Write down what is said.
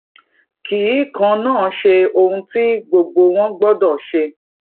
kì í kànán ṣe ohun tí gbogbo wọn gbódò ṣe